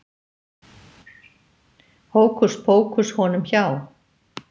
Hókuspókus honum hjá